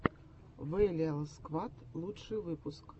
вэлиал сквад лучший выпуск